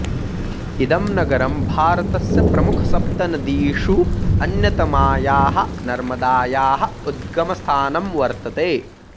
इदं नगरं भारतस्य प्रमुखसप्तनदीषु अन्यतमायाः नर्मदायाः उद्गमस्थानं वर्तते